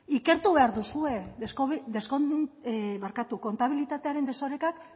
ikertu behar duzue des barkatu kontabilitatearen desorekak